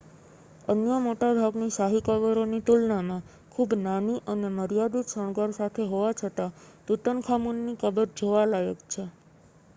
અન્ય મોટાભાગની શાહી કબરોની તુલનામાં ખૂબ નાની અને મર્યાદિત શણગાર સાથે હોવા છતાં તુતનખામુનની કબર જોવા લાયક છે